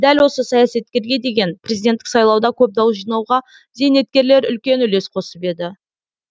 дәл осы саясаткерге кезінде президенттік сайлауда көп дауыс жинауға зейнеткерлер үлкен үлес қосып еді